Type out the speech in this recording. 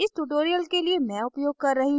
इस tutorial के लिए मैं उपयोग कर रही हूँ